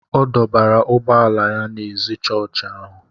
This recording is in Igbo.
ọ dọbara ụgbọ ala ya ná ézì chọọchị ahụ